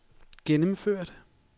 gennemført